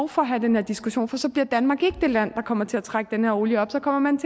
for at have den her diskussion for så bliver danmark ikke det land der kommer til at trække den her olie op så kommer man